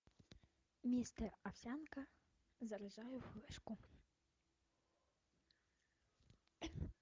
мистер овсянка заряжаю флешку